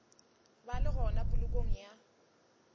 ba le gona polokong ya